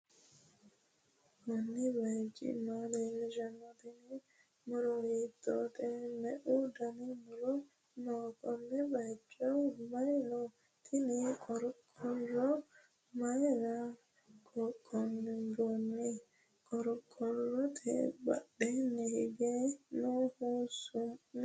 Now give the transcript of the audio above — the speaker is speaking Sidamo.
kuuni bayichi maa leelishano? tiini muro hittote? meu dani muuro no?konni bayichoho mayi no?tinni qorqoro mayira qoqonboni? qorqorote badheni hige nohu su'mi maati?